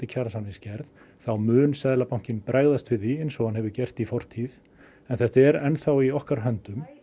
kjarasamningsgerð þá mun Seðlabankinn bregðast við því eins og hann hefur gert en þetta er enn þá í okkar höndum